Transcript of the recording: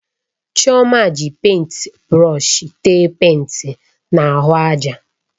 Chioma ji pèịnt brọsh téé pèịnt na ahụ ájà